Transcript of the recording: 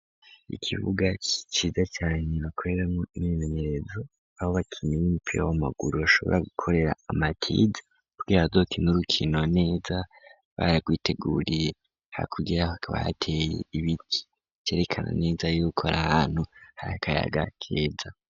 Ikibuga ciza cane bakoreramwo imyimenyerezo aho abakinyi b'umupira w'amaguru bashobora gukorera amatize kugira bazokine urukino neza baragwiteguriye hakurya hakaba hateye ibiti vyerekana neza y'uko ar’ahantu hari akayaga keza.